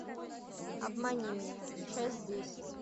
обмани меня часть десять